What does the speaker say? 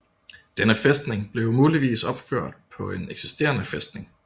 Denne fæstning blev muligvis opført på en eksisterende fæstning